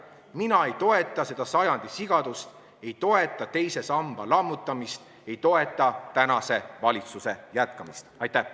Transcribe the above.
Mina ei toeta seda sajandi sigadust, ei toeta teise samba lammutamist, ei toeta tänase valitsuse jätkamist!